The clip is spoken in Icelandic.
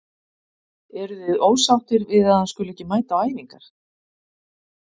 Eruð þið ósáttir við að hann skuli ekki mæta á æfingar?